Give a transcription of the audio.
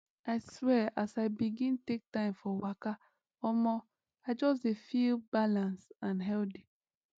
i swear as i begin take time for waka omo i just dey feel balance and healthy